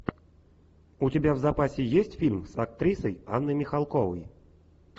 у тебя в запасе есть фильм с актрисой анной михалковой